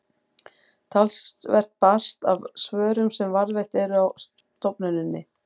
talsvert barst af svörum sem varðveitt eru á stofnuninni